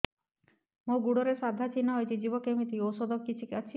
ମୋ ଗୁଡ଼ରେ ସାଧା ଚିହ୍ନ ହେଇଚି ଯିବ କେମିତି ଔଷଧ କିଛି ଅଛି